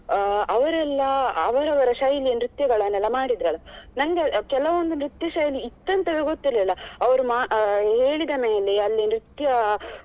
ಅಹ್ ಅವರೆಲ್ಲ ಅವರವರ ಶೈಲಿಯ ನೃತ್ಯಗಳನ್ನೆಲ್ಲ ಮಾಡಿದ್ರಲ್ಲ ನಂಗೆ ಕೆಲವೊಂದು ನೃತ್ಯ ಶೈಲಿ ಇತ್ತಂತವೇ ಗೊತ್ತಿರಲಿಲ್ಲ ಅವ್ರು ಹೇಳಿದ ಮೇಲೆ ಅಲ್ಲಿ ನೃತ್ಯ.